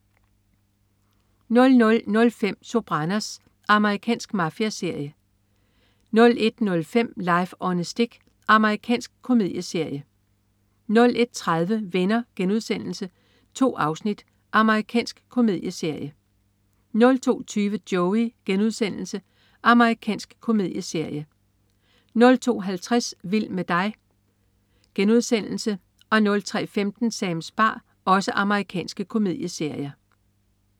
00.05 Sopranos. Amerikansk mafiaserie 01.05 Life on a Stick. Amerikansk komedieserie 01.30 Venner.* 2 afsnit. Amerikansk komedieserie 02.20 Joey.* Amerikansk komedieserie 02.50 Vild med dig.* Amerikansk komedieserie 03.15 Sams bar. Amerikansk komedieserie